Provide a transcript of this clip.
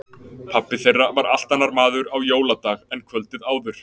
Pabbi þeirra var allt annar maður á jóladag en kvöldið áður.